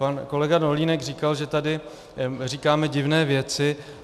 Pan kolega Dolínek říkal, že tady říkáme divné věci.